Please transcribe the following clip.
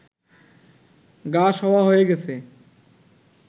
গা-সওয়া হয়ে গেছে